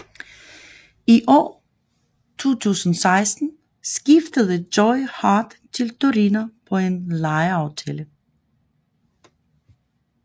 I år 2016 skiftede Joe Hart til Torino på en lejeaftale